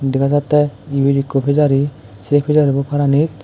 dega jattey ibet ekku pejari sei pejari bu paaranit.